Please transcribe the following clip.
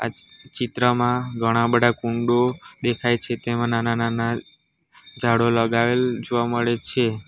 આ ચી ચિત્રમાં ઘણા બધા ફુંડુ દેખાય છે તેમાં નાના નાના ઝાડો લગાવેલ જોવા મળે છે.